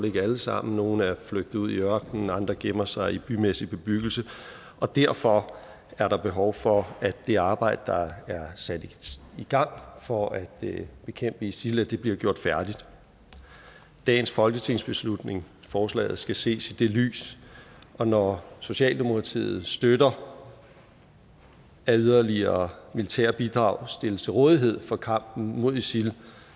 ikke alle sammen nogle er flygtet ud i ørkenen andre gemmer sig i bymæssig bebyggelse og derfor er der behov for at det arbejde der er sat i gang for at bekæmpe isil bliver gjort færdigt dagens folketingsbeslutning forslaget skal ses i det lys og når socialdemokratiet støtter at yderligere militære bidrag stilles til rådighed for kampen mod isil